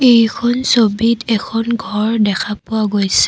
এইখন ছবিত এখন ঘৰ দেখা পোৱা গৈছে।